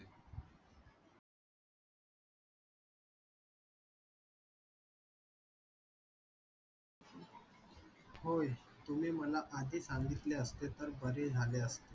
होय. तुम्ही मला आधी सांगितले असते तर बरे झाले असते.